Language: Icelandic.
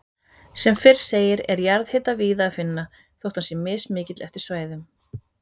Sem fyrr segir er jarðhita víða að finna, þótt hann sé mismikill eftir svæðum.